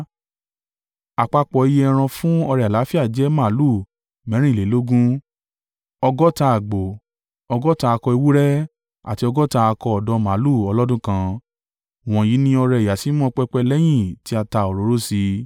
Àpapọ̀ iye ẹran fún ọrẹ àlàáfíà jẹ́ màlúù mẹ́rìnlélógún, ọgọ́ta àgbò, ọgọ́ta akọ ewúrẹ́ àti ọgọ́ta akọ ọ̀dọ́ màlúù ọlọ́dún kan. Wọ̀nyí ni ọrẹ ìyàsímímọ́ pẹpẹ lẹ́yìn tí a ta òróró sí i.